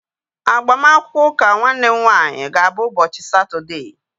Agbamakwụkwọ ụka nwanne m nwaanyị ga-abụ ụbọchị Satọdee